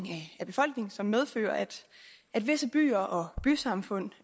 af befolkningen som medfører at at visse byer og bysamfund